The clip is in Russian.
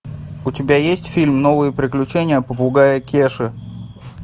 у тебя есть фильм новые приключения попугая кеши